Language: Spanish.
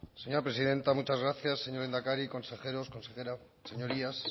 señora presidenta muchas gracias señor lehendakari consejeros consejera señorías